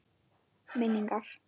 Minn- ingar